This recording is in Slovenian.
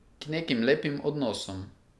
K nekim lepim odnosom.